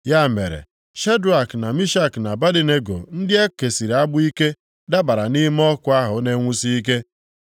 Ya mere, Shedrak, na Mishak, na Abednego ndị e kesịrị agbụ ike, dabara nʼime ọkụ ahụ na-enwusi ike.